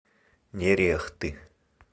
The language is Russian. нерехты